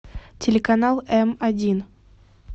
телеканал м один